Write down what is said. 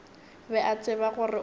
be a tseba gore o